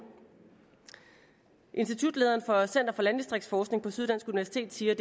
institutlederen for center for landdistriktsforskning på syddansk universitet siger